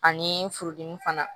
Ani furudimi fana